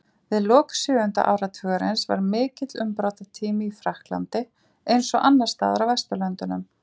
Við lok sjöunda áratugarins var mikill umbrotatími í Frakklandi, eins og annars staðar á Vesturlöndum.